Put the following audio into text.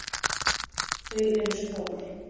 Þau eru stór.